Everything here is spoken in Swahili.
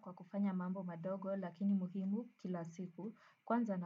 Kwa kufanya mambo madogo lakini muhimu kila siku. Kwanza